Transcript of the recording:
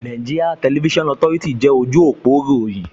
NTA jẹ́ ojú òpó ìròyìn